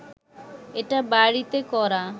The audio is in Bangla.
এটা বাড়িতে করা